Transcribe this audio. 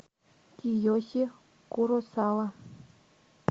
киеси куросава